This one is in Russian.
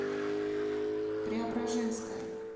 преображенская